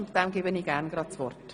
Ich erteile ihm gerne das Wort.